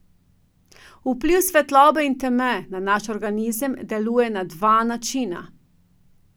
Vpliv svetlobe in teme na naš organizem deluje na dva načina.